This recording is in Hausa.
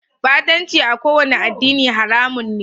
Batanci a kowane addini haramun ne.